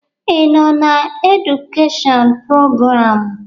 Ị nọ na edukeshọn prograamụ?